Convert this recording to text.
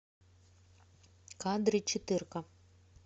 кадры четырка